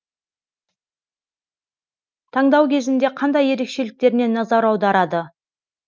таңдау кезінде қандай ерекшеліктеріне назар аударады